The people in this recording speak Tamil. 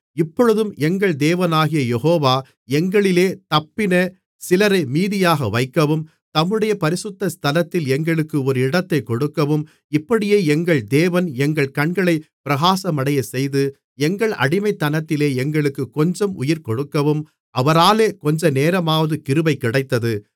இப்பொழுதும் எங்கள் தேவனாகிய யெகோவா எங்களிலே தப்பின சிலரை மீதியாக வைக்கவும் தம்முடைய பரிசுத்த ஸ்தலத்தில் எங்களுக்கு ஒரு இடத்தைக் கொடுக்கவும் இப்படியே எங்கள் தேவன் எங்கள் கண்களைப் பிரகாசமடையச் செய்து எங்கள் அடிமைத்தனத்திலே எங்களுக்குக் கொஞ்சம் உயிர் கொடுக்கவும் அவராலே கொஞ்சநேரமாவது கிருபை கிடைத்தது